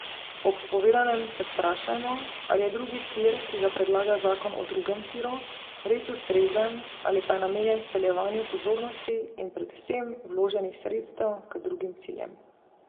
Ob povedanem se vprašajmo, ali je drugi tir, ki ga predlaga zakon o drugem tiru, res ustrezen ali pa je namenjen speljevanju pozornosti in predvsem vloženih sredstev k drugim ciljem.